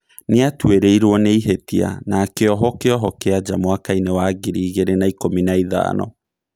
nĩ aatuĩrĩirũo nĩ ihĩtia na akĩohwo kĩoho kiaja mwaka-inĩ wa ngiri mĩrongo ĩĩrĩ na ikũmi na ĩthano.